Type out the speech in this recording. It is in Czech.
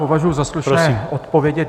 Považuji za slušné odpovědět.